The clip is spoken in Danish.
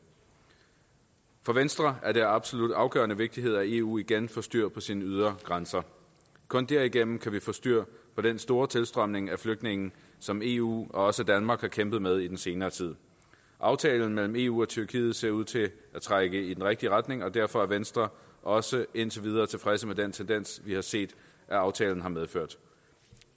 for venstre er det af absolut afgørende vigtighed at eu igen får styr på sine ydre grænser kun derigennem kan vi få styr på den store tilstrømning af flygtninge som eu og også danmark har kæmpet med i den senere tid aftalen mellem eu og tyrkiet ser ud til at trække i den rigtige retning og derfor er venstre også indtil videre tilfredse med den tendens vi har set at aftalen har medført